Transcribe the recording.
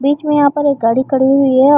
बिच में यहाँ पर एक गाड़ी खड़ी हुई है।